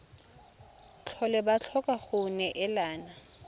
tlhole ba tlhoka go neelana